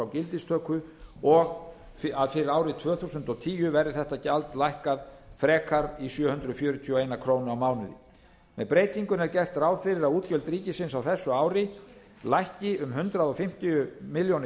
gildistöku og fyrir árið tvö þúsund og tíu verði þetta gjald lækkað frekar í sjö hundruð fjörutíu og ein króna á mánuði með breytingunni er gert ráð fyrir að útgjöld ríkisins á þessu ári lækki um hundrað fimmtíu milljónir